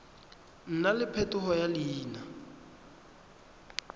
nna le phetogo ya leina